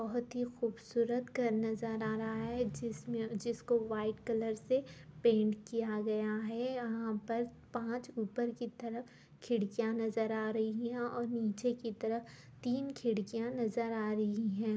बहुत ही खूबसूरत घर नजर आ रहा है जिसमें जिसको व्हाइट कलर से पैंट किया गया है| यहाँ पर पाँच ऊपर की तरफ खिड़कियाँ नजर आ रही है और नीचे की तरफ तीन खिड़कियाँ नजर आ रही है।